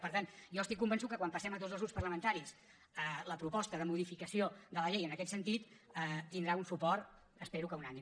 per tant jo estic convençut que quan passem a tots els grups parlamentaris la proposta de modificació de la llei en aquest sentit tindrà un suport espero que unànime